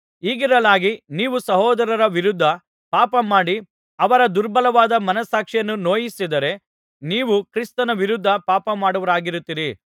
ಹೀಗಿರಲಾಗಿ ನೀವು ಸಹೋದರರ ವಿರುದ್ಧ ಪಾಪ ಮಾಡಿ ಅವರ ದುರ್ಬಲವಾದ ಮನಸ್ಸಾಕ್ಷಿಯನ್ನು ನೋಯಿಸಿದರೆ ನೀವು ಕ್ರಿಸ್ತನ ವಿರುದ್ಧ ಪಾಪಮಾಡುವವರಾಗುತ್ತೀರಿ